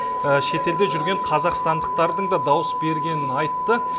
шетелде жүрген қазақстандықтардың да дауыс бергенін айтты